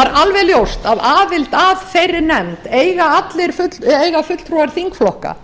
er alveg ljóst að aðild að þeirri nefnd eiga fulltrúar þingflokka